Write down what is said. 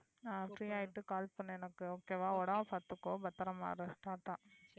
அஹ் free ஆயிட்டு call பண்ணு எனக்கு okay வா உடம்பு பார்த்துக்கோ பத்திரமா இரு ta-ta